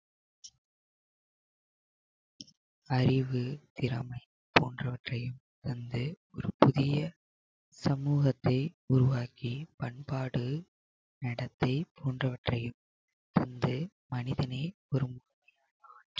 அறிவு திறமை போன்றவற்றையும் தந்து ஒரு புதிய சமூகத்தை உருவாக்கி பண்பாடு நடத்தை போன்றவற்றையும் தந்து மனிதனை ஒரு முக்கிய